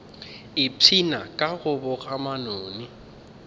ipshina ka go boga manoni